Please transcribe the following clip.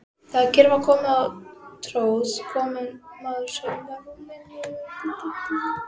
Þegar kyrrð var komin á tróð komumaður sér undan rúminu.